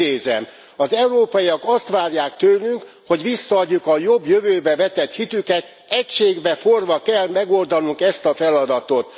Idézem Az európaiak azt várják tőlünk, hogy visszaadjuk a jobb jövőbe vetett hitüket, egységbe forrva kell megoldanunk ezt a feladatot.